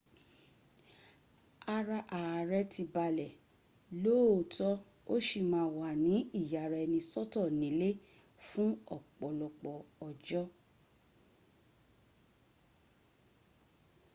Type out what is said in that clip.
ara ààrẹ̀ ti balẹ̀ lóòótọ́ ó sì má a wà ní ìyaraẹnisọ́tọ̀ nílé fún ọ̀pọ̀lọpọ̀ ọjọ́